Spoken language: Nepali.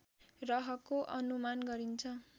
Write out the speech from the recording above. रहको अनुमान गरिन्छ